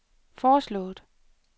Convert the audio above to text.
foreslået